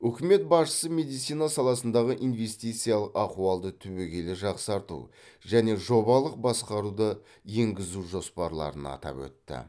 үкімет басшысы медицина саласындағы инвестициялық ахуалды түбегейлі жақсарту және жобалық басқаруды енгізу жоспарларын атап өтті